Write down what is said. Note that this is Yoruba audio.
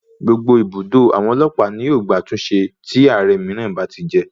Gbogbo ibùdó àwọn ọlọ́pàá ní yóò gba àtúnṣe tí Ààrẹ mìíràn bá ti jẹ.